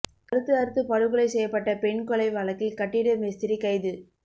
கழுத்து அறுத்து படுகொலை செய்யப்பட்ட பெண் கொலை வழக்கில் கட்டிட மேஸ்திரி கைது